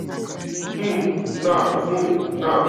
um nan um nan